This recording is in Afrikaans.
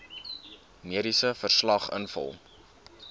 mediese verslag invul